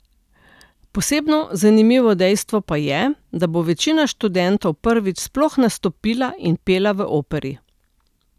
Posebno zanimivo dejstvo pa je, da bo večina študentov prvič sploh nastopila in pela v operi.